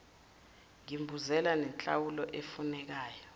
ngimbuzela nenhlawulo efunekayo